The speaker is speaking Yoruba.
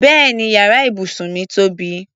Bẹ́ẹ̀ni yàrá ibùsùn mí tóbi.